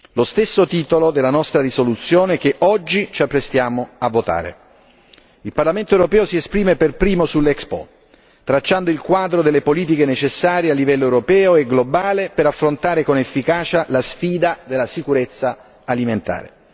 Lo stesso titolo della nostra risoluzione che oggi ci apprestiamo a votare. Il Parlamento europeo si esprime per primo sull'Expo, tracciando il quadro delle politiche necessarie a livello europeo e globale per affrontare con efficacia la sfida della sicurezza alimentare.